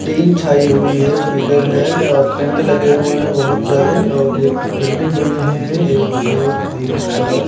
tin छाई हुई है पिलर है और पेंड लगे हुए हैं बहुत सारे और एक बिल्डिंग बनी है एक दो तीन चार--